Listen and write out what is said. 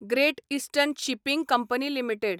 great eastern shipping company limited